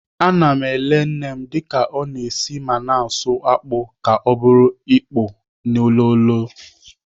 Ana m eke nnem dịka ọ na-esi ma na-asụ akpụ ka ọ bụrụ akpụ olilo.